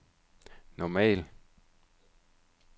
normal